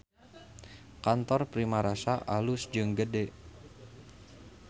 Kantor Primarasa alus jeung gede